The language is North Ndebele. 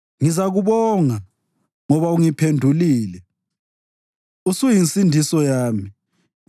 Ngizakubonga, ngoba ungiphendulile; usuyinsindiso yami.